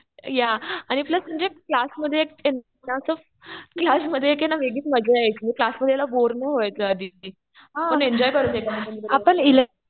या. आणि प्लस म्हणजे क्लासमध्ये ना असं एक काय म्हणतात वेगळीच मजा येते. म्हणजे क्लासमध्ये यायला बोर नाही व्हायचं अदिती. आपण एन्जॉय करतो एकमेकांबरोबर.